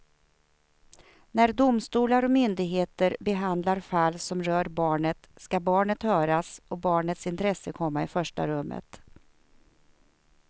När domstolar och myndigheter behandlar fall som rör barnet ska barnet höras och barnets intresse komma i första rummet.